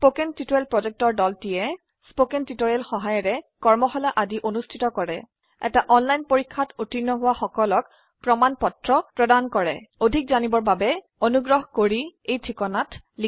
কথন শিক্ষণ প্ৰকল্পৰ দলটিয়ে কথন শিক্ষণ সহায়িকাৰে কৰ্মশালা আদি অনুষ্ঠিত কৰে এটা অনলাইন পৰীক্ষাত উত্তীৰ্ণ হোৱা সকলক প্ৰমাণ পত্ৰ প্ৰদান কৰে অধিক জানিবৰ বাবে অনুগ্ৰহ কৰি contactspoken tutorialorg এই ঠিকনাত লিখক